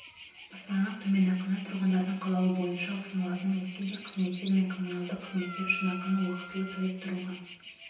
баспаналық төлем ақыны тұрғындардың қалауы бойынша ұсынылатын өзге де қызметтер мен коммуналдық қызметтер үшін ақыны уақвтылы төлеп тұруға